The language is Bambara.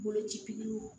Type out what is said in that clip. Boloci